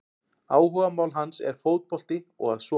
Áhugamál hans er fótbolti og að sofa!